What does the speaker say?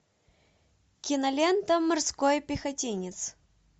кинолента морской пехотинец